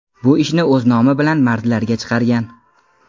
Bu ishni o‘z nomi bilan mardlarga chiqargan.